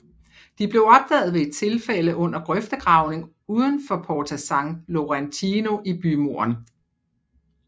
De blev opdaget ved et tilfælde under grøftegravning uden for Porta San Laurentino i bymuren